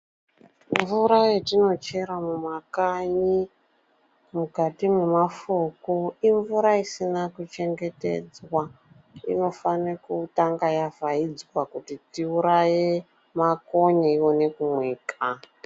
Mvura yatinochera mumakanyi mukati memafuku imvura isina kuchengetedzwa inofana kutanga yavhaidzwa kuti tiuraye makonye ione kumwika.